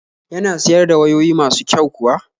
Yana siyar da wayoyi masu kyau kuwa?